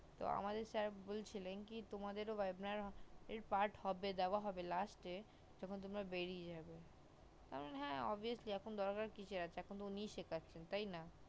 তো আমাদের sir বলছিলেন কি এ তোমাদের ও webinar এই part এ হবে দেওয়া হবে last যখন তোমরা বিড়িয়ে যাবে তো আমি বলি হা obviously এখন দরকার কিসের এখন তো উনিই শিকাছে তাই না